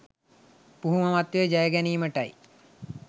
පුහු මමත්වය ජයගැනීමයි.